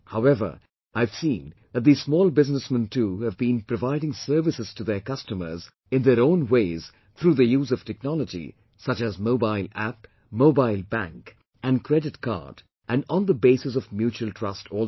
However, I have seen that these small businessmen too have kept providing services to their customers in their own ways through the use of technology such as Mobile App, Mobile Bank and Credit Card and on the basis of mutual trust also